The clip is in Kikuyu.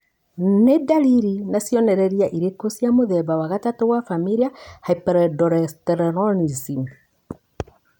Nĩ ndariri na cionereria irĩkũ cia mũthemba wa gatatũ wa Familial hyperaldosteronism?